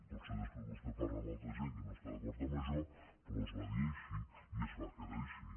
potser després vostè parla amb altra gent que no està d’acord amb això però es va dir així i es va quedar així